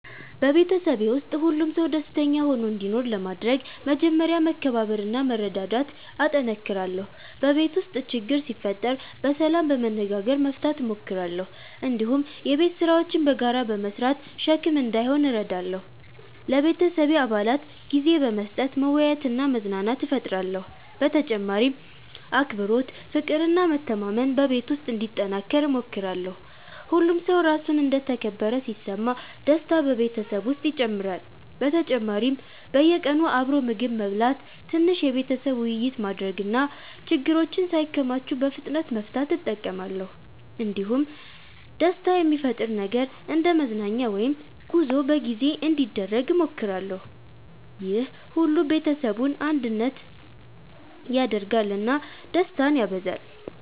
በቤተሰቤ ውስጥ ሁሉም ሰው ደስተኛ ሆኖ እንዲኖር ለማድረግ መጀመሪያ መከባበርና መረዳዳት እጠነክራለሁ። በቤት ውስጥ ችግር ሲፈጠር በሰላም በመነጋገር መፍታት እሞክራለሁ። እንዲሁም የቤት ስራዎችን በጋራ በመስራት ሸክም እንዳይሆን እረዳለሁ። ለቤተሰቤ አባላት ጊዜ በመስጠት መወያየትና መዝናናት እፈጥራለሁ። በተጨማሪም አክብሮት፣ ፍቅር እና መተማመን በቤት ውስጥ እንዲጠናከር እሞክራለሁ። ሁሉም ሰው ራሱን እንደ ተከበረ ሲሰማ ደስታ በቤተሰብ ውስጥ ይጨምራል። በተጨማሪም በየቀኑ አብሮ ምግብ መብላት፣ ትንሽ የቤተሰብ ውይይት ማድረግ እና ችግሮችን ሳይከማቹ በፍጥነት መፍታት እጠቀማለሁ። እንዲሁም ደስታ የሚፈጥር ነገር እንደ መዝናኛ ወይም ጉዞ በጊዜ በጊዜ እንዲደረግ እሞክራለሁ። ይህ ሁሉ ቤተሰቡን አንድነት ያደርጋል እና ደስታን ያበዛል።